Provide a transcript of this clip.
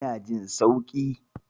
Ina jin sauki.